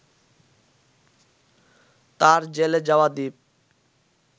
তার জ্বেলে যাওয়া দীপ